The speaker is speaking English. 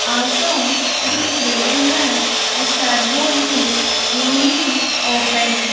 Also it is written that a servo is newly opened.